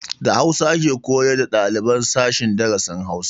Da hausa ake koyar da ɗaliban sashen darasin Hausa